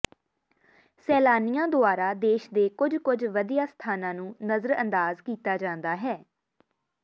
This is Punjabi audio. ਸੈਲਾਨੀਆਂ ਦੁਆਰਾ ਦੇਸ਼ ਦੇ ਕੁੱਝ ਕੁੱਝ ਵਧੀਆ ਸਥਾਨਾਂ ਨੂੰ ਨਜ਼ਰਅੰਦਾਜ਼ ਕੀਤਾ ਜਾਂਦਾ ਹੈ